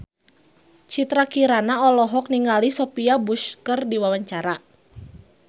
Citra Kirana olohok ningali Sophia Bush keur diwawancara